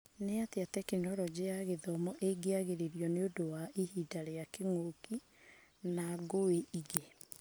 Nĩatĩ Tekinoronjĩ ya Githomo ĩngĩagĩrio nĩũndũ ya ihĩndĩ rĩgoka rĩa kĩng'ũki na ngũĩ ingĩ?